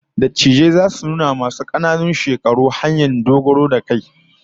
Dattijai zasu nuna wa masu kananan shekaru hanyoyi dogaro da kai